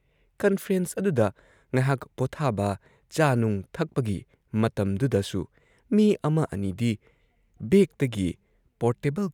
conference ꯑꯗꯨꯗ ꯉꯍꯥꯛ ꯄꯣꯊꯥꯕ, ꯆꯥ-ꯅꯨꯡ ꯊꯛꯄꯒꯤ ꯃꯇꯝꯗꯨꯗꯁꯨ ꯃꯤ ꯑꯃ ꯑꯅꯤꯗꯤ ꯕꯦꯒꯇꯒꯤ ꯄꯣꯔꯇꯦꯕꯜ